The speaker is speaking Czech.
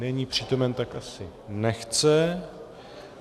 Není přítomen, tak asi nechce.